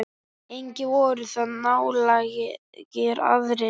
Engir voru þar nálægir aðrir.